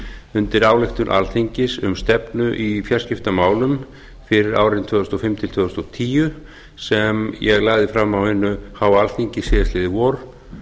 undir ályktun alþingis um stefnu í fjarskiptamálum fyrir árin tvö þúsund og fimm til tvö þúsund og tíu sem ég lagði fram á hinu háa alþingi síðastliðið vor